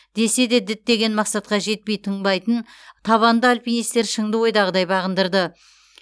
десе де діттеген мақсатқа жетпей тыңбайтын табанды альпинистер шыңды ойдағыдай бағындырды